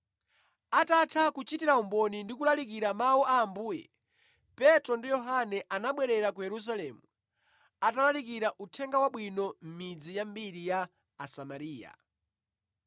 Atatha kuchitira umboni ndi kulalikira mawu a Ambuye, Petro ndi Yohane anabwerera ku Yerusalemu, atalalikira Uthenga Wabwino mʼmidzi yambiri ya Asamariya.